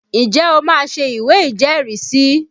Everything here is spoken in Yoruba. Ǹjẹ́ o máa ṣé ìwé ìjẹ́rìísí?